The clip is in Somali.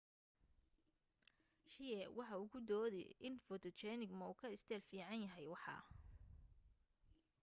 hsieh waxa uu ku doode in photogenic ma uu ka isteel fiican yahay waxa